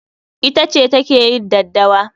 Ita ce ta ke yin daddawa.